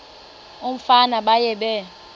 umfana baye bee